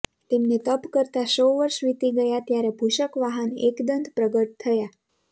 તેમને તપ કરતા સો વર્ષ વીતી ગયા ત્યારે ભૂષક વાહન એકદંત પ્રગટ થયા